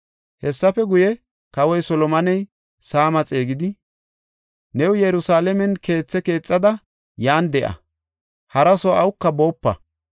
Hessafe guye, Kawoy Solomoney Saama xeegidi, “New Yerusalaamen keethe keexada, yan de7a; hara soo awuka boopa.